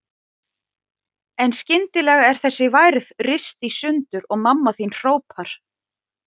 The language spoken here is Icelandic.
En skyndilega er þessi værð rist í sundur og mamma þín hrópar